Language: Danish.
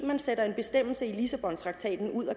man sætter en bestemmelse i lissabontraktaten ud af